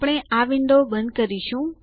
આપણે આ વિન્ડો બંધ કરીશું